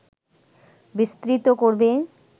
বিস্তৃত করবে